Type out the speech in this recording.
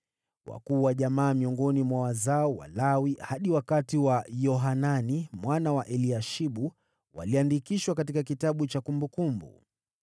Wakuu wa jamaa miongoni mwa wazao wa Lawi hadi wakati wa Yohanani mwana wa Eliashibu waliandikishwa katika kitabu cha kumbukumbu.